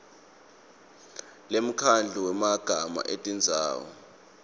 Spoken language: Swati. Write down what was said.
yemkhandlu wemagama etindzawo